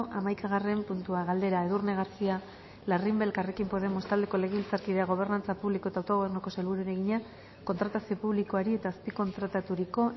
hamaikagarren puntua galdera edurne garcía larrimbe elkarrekin podemos taldeko legebiltzarkideak gobernantza publiko eta autogobernuko sailburuari egina kontratazio publikoari eta azpikontrataturiko